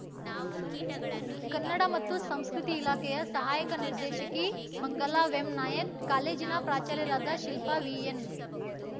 ಕನ್ನಡ ಮತ್ತು ಸಂಸ್ಕೃತಿ ಇಲಾಖೆಯ ಸಹಾಯಕ ನಿರ್ದೇಶಕಿ ಮಂಗಲಾ ವೆಂನಾಯಕ್‌ ಕಾಲೇಜಿನ ಪ್ರಾಚಾರ್ಯರಾದ ಶಿಲ್ಪಾ ವಿಎನ್‌